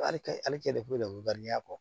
Hali cɛ le ko n'i y'a bɔ